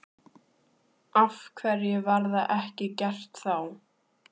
Af hverju var það ekki gert þá?